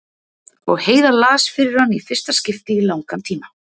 Og Heiða las fyrir hann í fyrsta skipti í langan tíma.